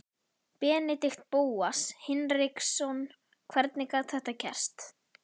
Benedikt Bóas Hinriksson Hvernig gat þetta gerst?